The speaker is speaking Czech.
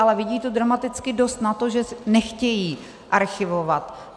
Ale vidí to dramaticky dost na to, že nechtějí archivovat.